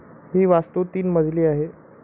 ही वास्तू तीन मजली आहे